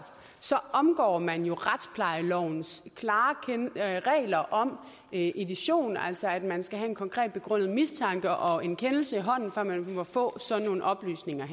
omgår man jo retsplejelovens klare regler om edition altså om at man skal have en konkret begrundet mistanke og en kendelse i hånden før man må få sådan nogle oplysninger